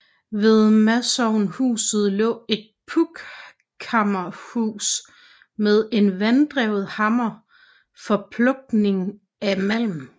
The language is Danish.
Ved masovnhuset lå et pukkhammerhus med en vanddrevet hammer for pukking af malmen